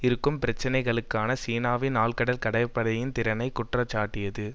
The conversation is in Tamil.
இருக்கும் பிரச்சனைகளுக்காக சீனாவின் ஆழ்கடல் கப்பற்படையின் திறனை குற்றஞ்சாட்டியது